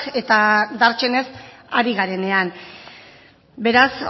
eta dartsenez ari garenean beraz